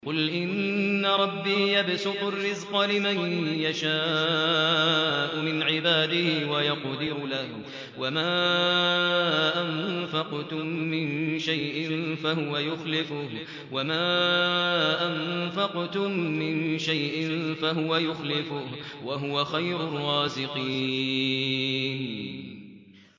قُلْ إِنَّ رَبِّي يَبْسُطُ الرِّزْقَ لِمَن يَشَاءُ مِنْ عِبَادِهِ وَيَقْدِرُ لَهُ ۚ وَمَا أَنفَقْتُم مِّن شَيْءٍ فَهُوَ يُخْلِفُهُ ۖ وَهُوَ خَيْرُ الرَّازِقِينَ